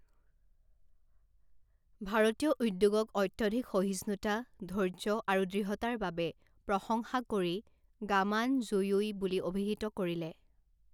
ভাৰতীয় উদ্যোগক অত্যধিক সহিষ্ণুতা, ধৈৰ্য আৰু দৃঢ়তাৰ বাবে প্ৰশংসা কৰি গামানযুয়োই বুলি অভিহিত কৰিলে